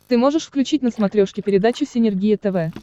ты можешь включить на смотрешке передачу синергия тв